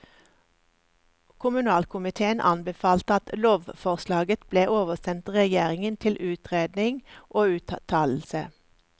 Kommunalkomitéen anbefalte at lovforslagetble oversendt regjeringen til utredning og uttalelse.